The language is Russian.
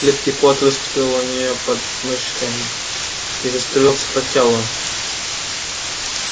липкий пот выступил у неё под мышками и заструился по телу